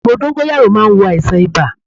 Àgbo dóngóyárò má n wo àìsàn ibà